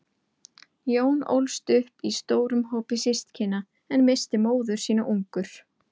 Jón ólst upp í stórum hópi systkina, en missti móður sína ungur.